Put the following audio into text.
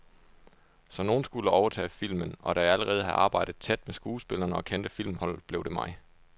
Så nogen skulle overtage filmen, og da jeg allerede havde arbejdet tæt med skuespillerne og kendte filmholdet, blev det mig.